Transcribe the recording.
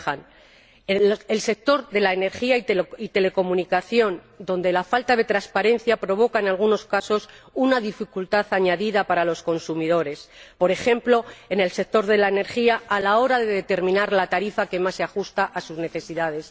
al sector de la energía y las telecomunicaciones, donde la falta de transparencia provoca en algunos casos una dificultad añadida para los consumidores, por ejemplo, en el sector de la energía, a la hora de determinar la tarifa que más se ajusta a sus necesidades